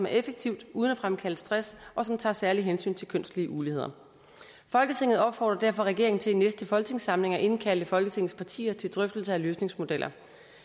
er effektivt uden at fremkalde stress og tager særligt hensyn til kønslige uligheder folketinget opfordrer derfor regeringen til i næste folketingssamling at indkalde folketingets partier til drøftelse af løsningsmodeller